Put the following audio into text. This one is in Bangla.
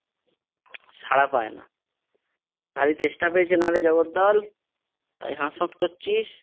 সাড়া পায় না। হ্যাঁ রে তেষ্টা পেয়েছে না রে জগদ্দল তাই হাঁসফাঁস করছিস?